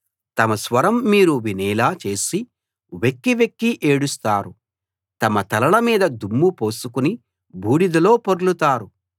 తమ స్వరం మీరు వినేలా చేసి వెక్కి వెక్కి ఏడుస్తారు తమ తలల మీద దుమ్ము పోసుకుని బూడిదలో పొర్లుతారు